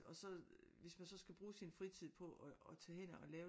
Og så hvis man så skal bruge sin fritid på at tage hen og lave